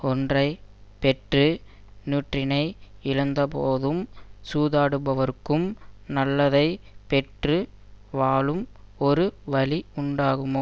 ஒன்றை பெற்று நூற்றினை இழந்துபோகும் சூதாடுபவர்க்கும் நல்லதைப் பெற்று வாழம் ஒரு வழி உண்டாகுமோ